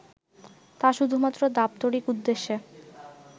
তা শুধুমাত্র দাপ্তরিক উদ্দেশ্যে